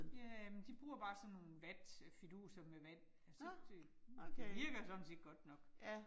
Ja, men de bruger bare sådan nogle vatfiduser med vand altså det det det virker sådan set godt nok